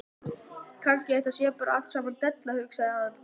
Kannski þetta sé bara allt saman della, hugsaði hann.